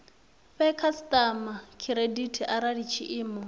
fhe khasitama khiredithi arali tshiimo